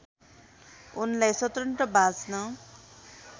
उनलाई स्वतन्त्र बाँच्न